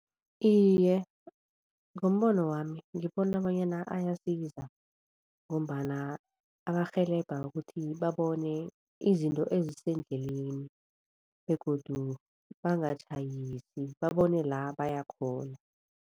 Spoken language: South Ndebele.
Iye, ngombono wami, ngibona bonyana ayasiza ngombana abarhelebha ukuthi babone izinto ezisendleleni begodu bangatjhayisi, babone la baya khona.